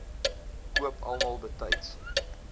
koop almal betyds